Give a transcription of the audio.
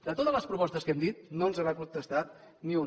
de totes les propostes que hem dit no ens n’ha contestat ni una